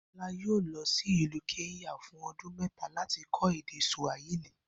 Bó̩lá yóò lo̩ sí ìlú Ké̩ńyà fún o̩dún me̩ta láti ko̩ èdè Sùàhílì